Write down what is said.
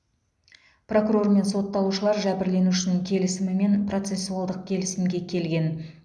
прокурор мен сотталушылар жәбірленушінің келісімімен процессуалдық келісімге келген